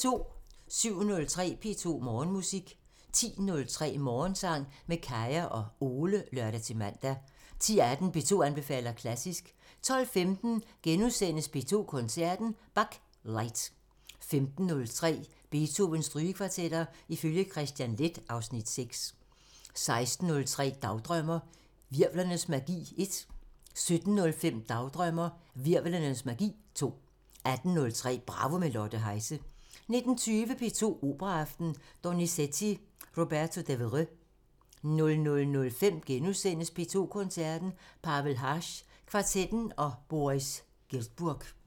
07:03: P2 Morgenmusik 10:03: Morgensang med Kaya og Ole (lør-man) 10:18: P2 anbefaler klassisk 12:15: P2 Koncerten – Bach: Light * 15:03: Beethovens Strygekvartetter ifølge Kristian Leth (Afs. 6) 16:03: Dagdrømmer: Hvirvlernes magi 1 17:05: Dagdrømmer: Hvirvlernes magi 2 18:03: Bravo – med Lotte Heise 19:20: P2 Operaaften – Donizetti: Roberto Devereux 00:05: P2 Koncerten – Pavel Haas kvartetten og Boris Giltburg *